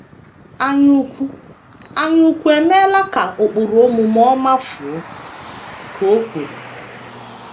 “ Anyaukwu “ Anyaukwu emeela ka ụkpụrụ omume ọma fuo, ” ka o kwuru.